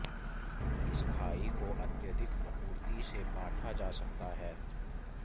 इस खाई को अत्यधिक आपूर्ति से पाटा जा सकता है